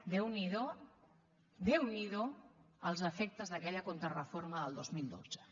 déu n’hi do déu n’hi do els efectes d’aquella contrareforma del dos mil dotze